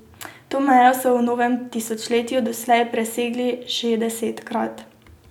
To mejo so v novem tisočletju doslej presegli že desetkrat.